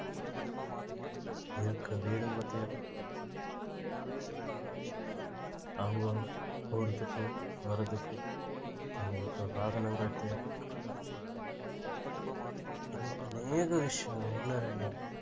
இருக்க வீடுங்க தேவை அவங்க போறதுக்கு வர்றதுக்கு அவங்களுக்கு வாகனங்கள் தேவை இன்னும் அநேக விஷயம் ஒண்ணு இரண்டல்ல